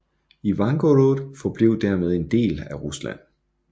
Ivangorod forblev dermed en del af Rusland